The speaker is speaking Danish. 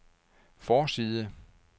forside